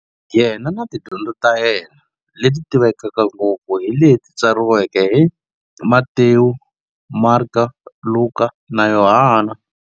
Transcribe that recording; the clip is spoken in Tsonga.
Yena na tidyondzo ta yena, leti tivekaka ngopfu hi leti tsariweke hi-Matewu, Mareka, Luka, na Yohana.